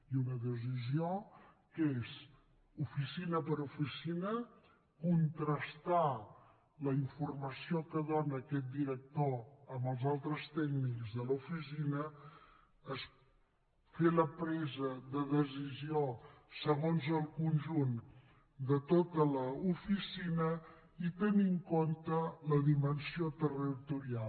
i una decisió que és oficina per oficina contrastar la informació que dóna aquest director amb els altres tècnics de l’oficina fer la presa de decisió segons el conjunt de tota l’oficina i tenir en compte la dimensió territorial